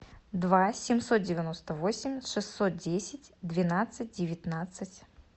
два семьсот девяносто восемь шестьсот десять двенадцать девятнадцать